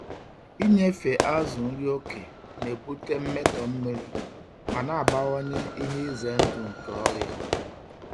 Inyefe azụ nri oke na-ebute mmetọ mmiri ma na-abawanye ihe ize ndụ nke ọrịa.